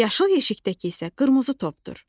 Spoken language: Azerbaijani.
Yaşıl yeşikdəki isə qırmızı topdur.